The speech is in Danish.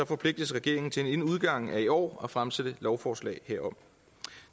forpligtes regeringen til inden udgangen af i år at fremsætte lovforslag herom